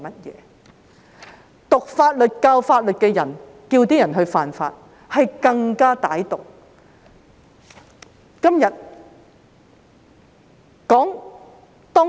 修讀法律、教授法律的人叫市民犯法，是更加歹毒。